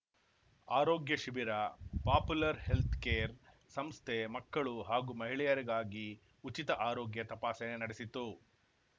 ಆರೋಗ್ಯ ಶಿಬಿರ popular healthcare ಸಂಸ್ಥೆ ಮಕ್ಕಳು ಹಾಗೂ ಮಹಿಳೆಯರಿಗಾಗಿ ಉಚಿತ ಆರೋಗ್ಯ ತಪಾಸಣೆ ನಡೆಸಿತು